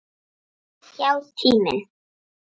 Já, tíminn.